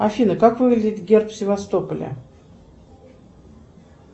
афина как выглядит герб севастополя